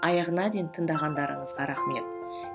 аяғына дейін тыңдағандарыңызға рахмет